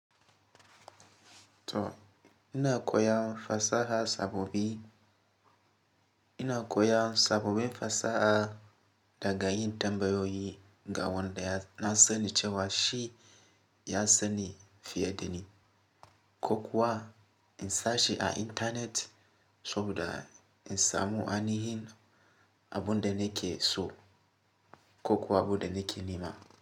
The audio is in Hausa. To ina koyan fasaha sababbi, ina koyan sabobin fasaha daga yin tambayoyi ga wanda na sani cewa shi ya sani fiye dani. Ko kuwa in searching a intanet saboda in samu ainihin abin da nake so ko kuwa abin da nake nema.